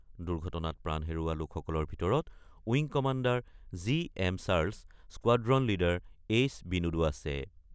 দুৰ্ঘটনাত প্ৰাণ হেৰুওৱা লোকসকলৰ ভিতৰত wing commander G M Charles, squadron leader H বিনোদো আছে।